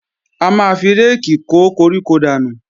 A máa fi réèkì kó koríko dànù